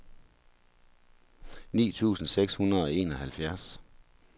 nitten tusind seks hundrede og enoghalvfjerds